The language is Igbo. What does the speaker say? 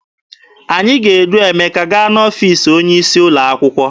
Anyị ga-edu Emeka gaa n'ọfiisi onye isi ụlọ akwụkwọ.